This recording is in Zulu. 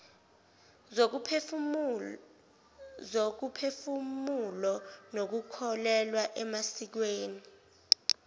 zokomphefumulo nokukholelwa emasikweni